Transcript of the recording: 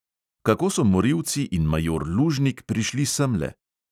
Kako so morilci in major lužnik prišli semle?